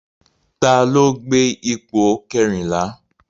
Ta ló gbé ipò kẹrìnlá?